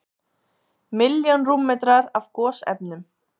Milljón rúmmetrar af gosefnum